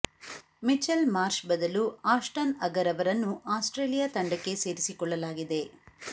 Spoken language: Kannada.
ಮಿಚೆಲ್ ಮಾರ್ಷ್ ಬದಲು ಆಷ್ಟನ್ ಅಗರ್ ಅವರನ್ನು ಆಸ್ಟ್ರೇಲಿಯಾ ತಂಡಕ್ಕೆ ಸೇರಿಸಿಕೊಳ್ಳಲಾಗಿದೆ